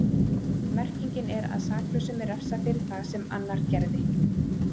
Merkingin er að saklausum er refsað fyrir það sem annar gerði.